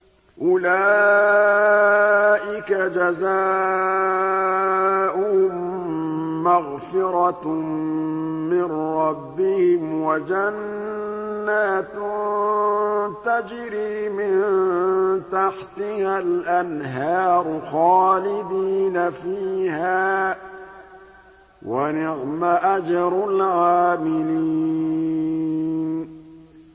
أُولَٰئِكَ جَزَاؤُهُم مَّغْفِرَةٌ مِّن رَّبِّهِمْ وَجَنَّاتٌ تَجْرِي مِن تَحْتِهَا الْأَنْهَارُ خَالِدِينَ فِيهَا ۚ وَنِعْمَ أَجْرُ الْعَامِلِينَ